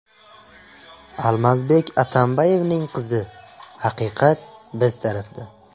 Almazbek Atambayevning qizi: Haqiqat biz tarafda.